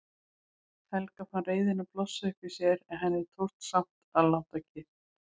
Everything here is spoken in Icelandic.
Helga fann reiðina blossa upp í sér en henni tókst samt að láta kyrrt.